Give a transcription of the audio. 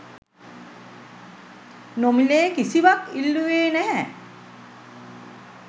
නොමි‍ලේ කිසිවක් ඉල්ලුවේ නැහැ.